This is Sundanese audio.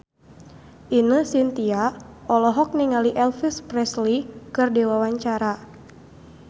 Ine Shintya olohok ningali Elvis Presley keur diwawancara